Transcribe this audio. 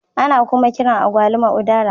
Ana kuma kiran Agwaluma " udara"